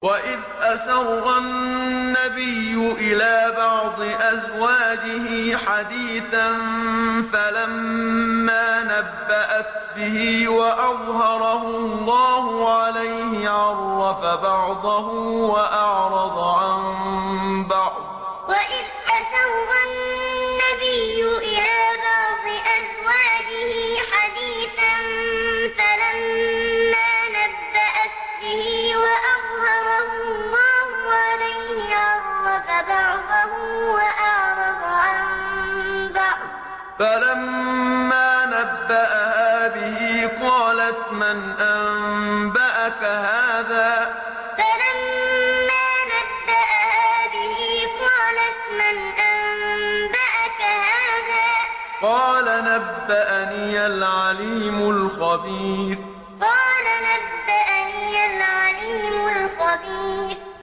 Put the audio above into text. وَإِذْ أَسَرَّ النَّبِيُّ إِلَىٰ بَعْضِ أَزْوَاجِهِ حَدِيثًا فَلَمَّا نَبَّأَتْ بِهِ وَأَظْهَرَهُ اللَّهُ عَلَيْهِ عَرَّفَ بَعْضَهُ وَأَعْرَضَ عَن بَعْضٍ ۖ فَلَمَّا نَبَّأَهَا بِهِ قَالَتْ مَنْ أَنبَأَكَ هَٰذَا ۖ قَالَ نَبَّأَنِيَ الْعَلِيمُ الْخَبِيرُ وَإِذْ أَسَرَّ النَّبِيُّ إِلَىٰ بَعْضِ أَزْوَاجِهِ حَدِيثًا فَلَمَّا نَبَّأَتْ بِهِ وَأَظْهَرَهُ اللَّهُ عَلَيْهِ عَرَّفَ بَعْضَهُ وَأَعْرَضَ عَن بَعْضٍ ۖ فَلَمَّا نَبَّأَهَا بِهِ قَالَتْ مَنْ أَنبَأَكَ هَٰذَا ۖ قَالَ نَبَّأَنِيَ الْعَلِيمُ الْخَبِيرُ